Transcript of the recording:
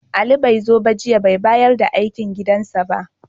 Ali bai zo ba jiya, bai bayar da aikin gidansa ba.